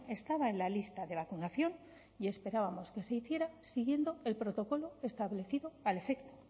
estaba en la lista de vacunación y esperábamos que se hiciera siguiendo el protocolo establecido al efecto